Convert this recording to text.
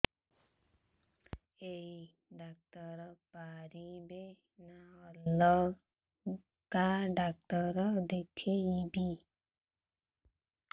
ଏଇ ଡ଼ାକ୍ତର ପାରିବେ ନା ଅଲଗା ଡ଼ାକ୍ତର ଦେଖେଇବି